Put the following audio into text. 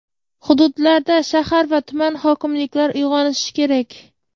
Hududlarda shahar va tuman hokimlar uyg‘onishi kerak.